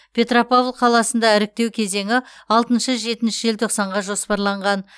петропавл қаласында іріктеу кезеңі алтыншы жетінші желтоқсанға жоспарланған